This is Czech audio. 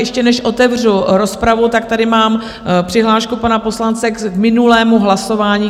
Ještě než otevřu rozpravu, tak tady mám přihlášku pana poslance k minulému hlasování.